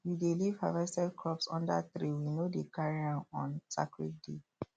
we dey leave harvested crops under tree we no dey carry am on sacred day